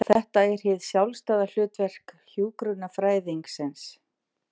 Þetta er hið sjálfstæða hlutverk hjúkrunarfræðingsins.